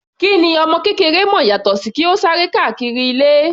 Kí ni ọmọ kékeré mọ̀ yàtọ sí kí ó sá eré káàkiri ilé.